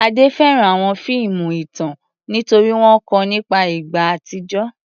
Ade fẹ́ràn àwọn fíìmù ìtàn nítorí wọ́n kọ́ ọ nípa ìgbà àtijọ́.